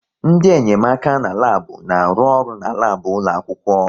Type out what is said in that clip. Ndị enyemaka n'labu na-arụ ọrụ n'labu ụlọ akwụkwọ